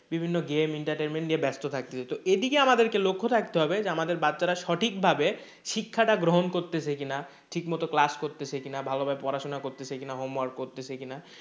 বিভিন্ন game entertainment নিয়ে ব্যস্ত থাকছে হয়তো এদিকে আমাদেরকে লক্ষ্য থাকতে হবে যে আমাদের বাচ্চারা সঠিক ভাবে শিক্ষাটা গ্রহণ করতেছে কি না? ঠিকমতো class করছে কি না? ভালোভাবে পড়াশোনা করতেছে কি না? homework করতেছে কি না?